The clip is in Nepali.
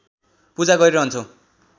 पूजा गरिरहन्छौं